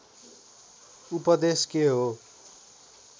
उपदेश के हो